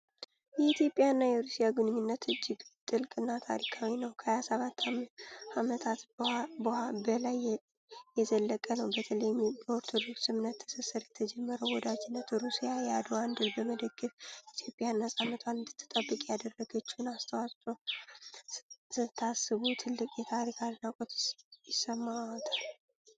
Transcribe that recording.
የኢትዮጵያና የሩሲያ ግንኙነት እጅግ ጥልቅና ታሪካዊ ነው። ከ 127 ዓመታት በላይ የዘለቀ ነው! በተለይም በኦርቶዶክስ እምነት ትስስር የተጀመረው ወዳጅነት፣ ሩሲያ የአድዋን ድል በመደገፍ ኢትዮጵያ ነፃነቷን እንድትጠብቅ ያደረገችውን አስተዋጽዖ ስታስቡ ትልቅ የታሪክ አድናቆት ይሰማዎታል